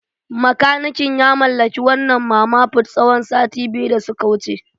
Makanikin ya mallaki wannan Mama Put tsawon sati biyu da suka wuce.